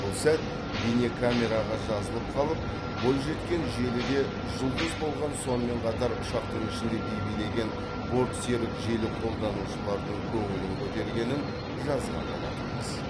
бұл сәт бейнакамераға жазылып қалып бойжеткен желіде жұлдыз болған сонымен қатар ұшақтың ішінде би билеген бортсерік желі қолданушыларының көңілін көтергенін жазған болатынбыз